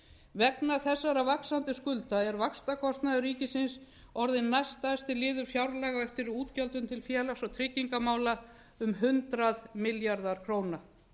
vegna þessara vaxandi skulda er vaxtakostnaður ríkisins orðinn næststærsti liður fjárlaga á eftir útgjöldum til félags og tryggingamála um hundrað milljarðar króna